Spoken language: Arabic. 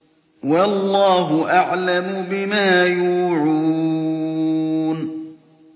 وَاللَّهُ أَعْلَمُ بِمَا يُوعُونَ